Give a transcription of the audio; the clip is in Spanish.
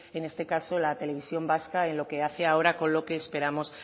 en este caso la televisión vasca en lo que hace ahora con lo que esperamos